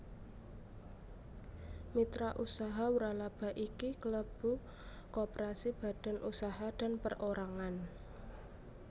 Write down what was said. Mitra usaha wralaba iki kelebu koperasi badan usaha dan perorangan